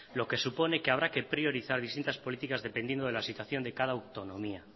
lo que supone que habrá que priorizar distintas políticas dependiendo de la situación de cada autonomía